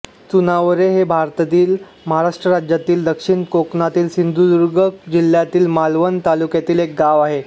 चुनावरे हे भारतातील महाराष्ट्र राज्यातील दक्षिण कोकणातील सिंधुदुर्ग जिल्ह्यातील मालवण तालुक्यातील एक गाव आहे